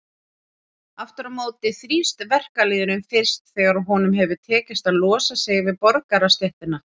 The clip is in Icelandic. Aftur á móti þrífst verkalýðurinn fyrst þegar honum hefur tekist að losa sig við borgarastéttina.